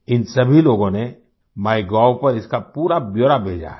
इन सभी लोगों ने माइगोव पर इसका पूरा ब्यौरा भेजा है